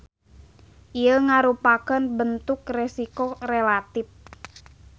Ieu ngarupakeun bentuk resiko relatip.